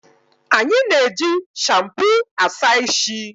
Anyi na-eji shampu Asa ishi